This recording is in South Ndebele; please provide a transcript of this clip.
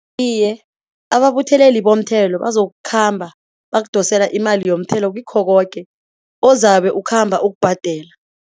Iye ababutheleli bomthelo bazokukhamba, bakudosela imali yomthelo, kikho koke ozabe ukhamba ukubhadela.